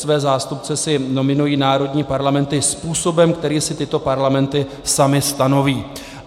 Své zástupce si nominují národní parlamenty způsobem, který si tyto parlamenty samy stanoví.